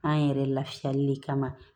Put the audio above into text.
An yɛrɛ lafiyali de kama